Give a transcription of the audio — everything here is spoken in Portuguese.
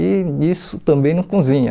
E isso também não cozinha.